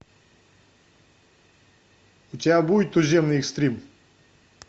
у тебя будет туземный экстрим